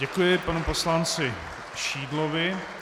Děkuji panu poslanci Šídlovi.